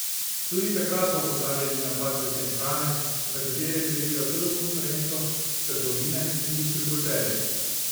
Tudi takrat so opozarjali na padce cen hrane, za katere krivijo tujo konkurenco, trgovine in distributerje.